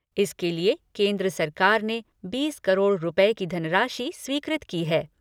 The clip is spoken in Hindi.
इसके लिए केंद्र सरकार ने बीस करोड़ रूपए की धनराशि स्वीकृत की है।